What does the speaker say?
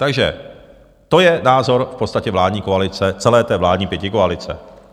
Takže to je názor v podstatě vládní koalice, celé té vládní pětikoalice.